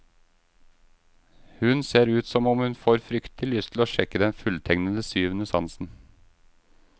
Hun ser ut som om hun får fryktelig lyst til å sjekke den fulltegnede syvende sansen.